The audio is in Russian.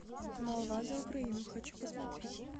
молва за украину хочу посмотреть